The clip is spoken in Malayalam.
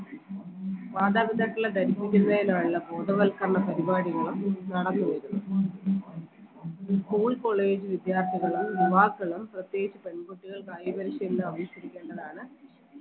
മാതാപിതാക്കളെ ധരിപ്പിക്കുന്നതിനാണല്ലോ ബോധവൽക്കരണ പരിപാടികളും നടത്തുന്നത് school college വിദ്യാർത്ഥികളും യുവാക്കളും പ്രത്യേകിച്ച് പെൺകുട്ടികൾ കായിക പരിശീലനം അഭ്യസിച്ചിരിക്കേണ്ടതാണ്